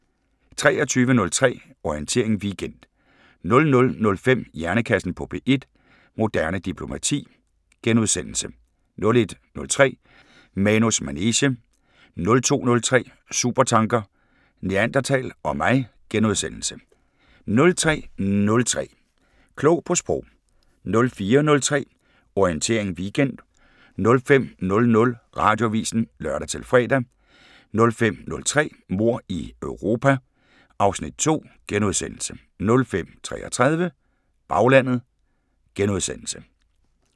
00:05: Hjernekassen på P1: Moderne diplomati * 01:03: Manus manege 02:03: Supertanker: Neandertal og mig * 03:03: Klog på Sprog 04:03: Orientering Weekend 05:00: Radioavisen (lør-fre) 05:03: Mord i Europa (Afs. 2)* 05:33: Baglandet *